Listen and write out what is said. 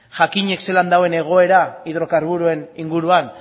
jakinik zelan dagoen egoera hidrokarburoen inguruan